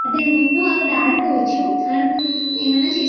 దీన్ ముందు అక్కడ ఆడుకోవచ్చు ఆడుకున్ ఏమన్నా చెస్ --